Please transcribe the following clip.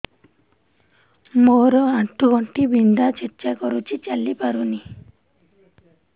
ମୋର ଆଣ୍ଠୁ ଗଣ୍ଠି ବିନ୍ଧା ଛେଚା କରୁଛି ଚାଲି ପାରୁନି